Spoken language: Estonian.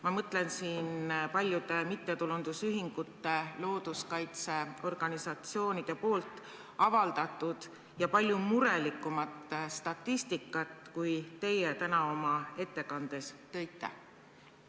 Ma mõtlen siin paljude mittetulundusühingute, looduskaitseorganisatsioonide avaldatud statistikat, mis on palju murelikum, kui teie täna oma ettekandes välja tõite.